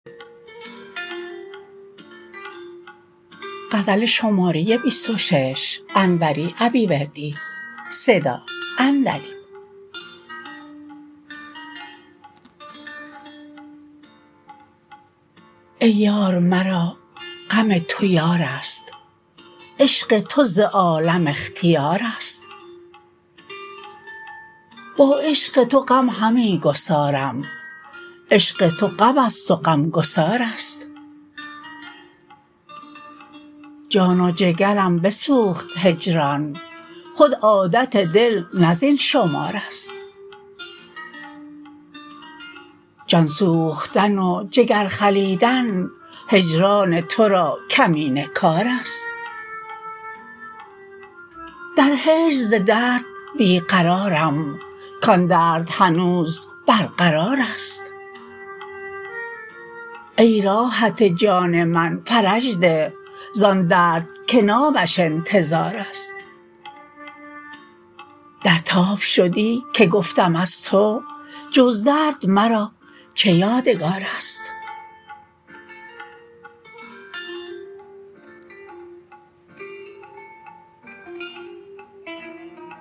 ای یار مرا غم تو یارست عشق تو ز عالم اختیارست با عشق تو غم همی گسارم عشق تو غمست و غمگسارست جان و جگرم بسوخت هجران خود عادت دل نه زین شمارست جان سوختن و جگر خلیدن هجران ترا کمینه کارست در هجر ز درد بی قرارم کان درد هنوز برقرارست ای راحت جان من فرج ده زان درد که نامش انتظارست در تاب شدی که گفتم از تو جز درد مرا چه یادگارست